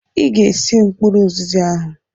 Ịga-esi mkpụrụ ụzịza ahụ!